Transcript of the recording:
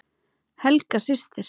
Helga systir.